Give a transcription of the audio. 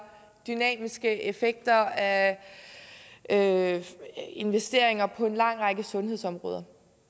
dynamiske effekter af af investeringer på en lang række sundhedsområder